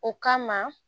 O kama